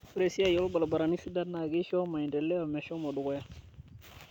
Ore esiai oo lbarabarani sidai na keisho maendeleo meshomo dukuya